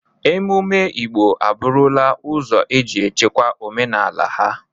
Ememme Igbo a bụrụla ụzọ eji echekwa omenala ha.